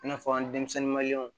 I n'a fɔ an denmisɛnnin maliɲɛnw